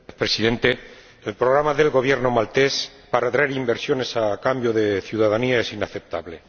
Señor Presidente, el programa del Gobierno maltés para traer inversiones a cambio de ciudadanía es inaceptable.